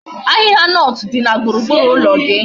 Ahihia nut di na gburugburu ulo gi